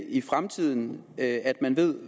i fremtiden at man ved